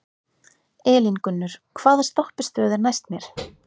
Elíngunnur, hvaða stoppistöð er næst mér?